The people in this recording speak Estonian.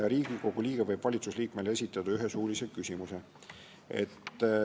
Riigikogu liige võib valitsusliikmele esitada ühe suulise küsimuse.